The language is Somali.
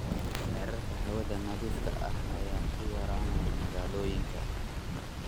Heerarka hawada nadiifka ah ayaa ku yaraanaya magaalooyinka.